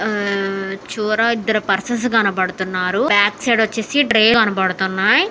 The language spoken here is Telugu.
ఆహ్ చివర ఇద్దరు. పర్సన్స్ కనబడుతున్నారు. బ్యాక్ సైడ్ వచ్చేసి డ్రే కనబడుతున్నాయి.